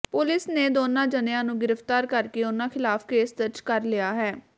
police ਨੇ ਦੋਨਾਂ ਜਣਿਆਂ ਨੂੰ ਗ੍ਰਿਫ਼ਤਾਰ ਕਰਕੇ ਉਨ੍ਹਾਂ ਖ਼ਿਲਾਫ ਕੇਸ ਦਰਜ ਕਰ ਲਿਆ ਹੈ